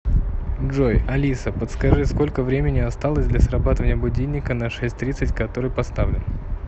джой алиса подскажи сколько времени осталось для срабатывания будильника на шесть тридцать который поставлен